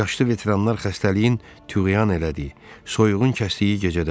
Yaşlı veteranlar xəstəliyin tüğyan elədiyi, soyuğun kəsdiyi gecədə.